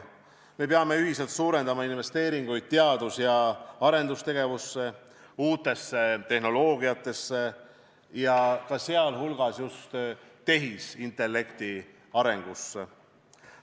Me peame ühiselt suurendama investeeringuid teadus- ja arendustegevusse, uutesse tehnoloogiatesse, sh just tehisintellekti arengusse.